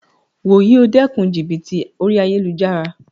Wo yíì o dékun jìbìtì orí ayélujára